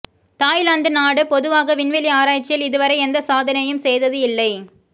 Thailand நாடு பொதுவாக விண்வெளி ஆராய்ச்சியில் இதுவரை எந்த சாதனையும் செய்தது இல்லை